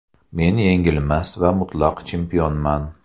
Men yengilmas va mutlaq chempionman.